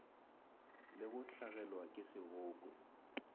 le go hlagelwa ke seboko